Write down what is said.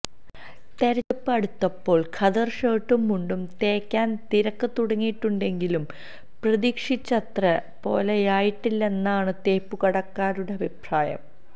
തിരഞ്ഞെടുപ്പ് അടുത്തപ്പോൾ ഖദർ ഷർട്ടും മുണ്ടും തേക്കാൻ തിരക്ക് തുടങ്ങിയിട്ടുണ്ടെങ്കിലും പ്രതീക്ഷിച്ചത്ര പോലെയായിട്ടില്ലെന്നാണ് തേപ്പുകടക്കാരുടെ അഭിപ്രായം